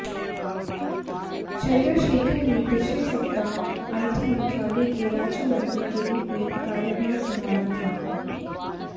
चंद्रशेखर ने पिछले सप्ताह आईटी मंत्रालय के राज्यमंत्री के रूप में कार्यभार संभाला था